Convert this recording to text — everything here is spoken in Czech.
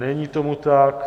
Není tomu tak.